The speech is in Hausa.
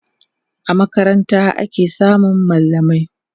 a makaranta ake samun mallamai